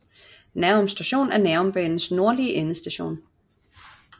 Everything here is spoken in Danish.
Nærum Station er Nærumbanens nordlige endestation